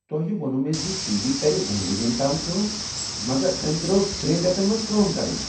تۄہہ ووٚنوٕ مےٚ ز ٹی وی کر دۄن ؤرین تام کٲم مگر أمۍ ترٲو تریٚنۍ ریتن منز کٲم کرٕنۍ!